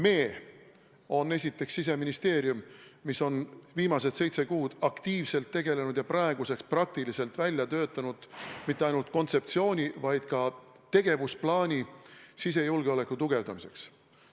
"Me" on esiteks Siseministeerium, mis on viimased seitse kuud aktiivselt tegelenud ja praeguseks peaaegu välja töötanud mitte ainult kontseptsiooni, vaid ka tegevusplaani sisejulgeoleku tugevdamiseks.